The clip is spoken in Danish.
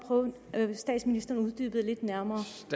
at statsministeren uddybede lidt mere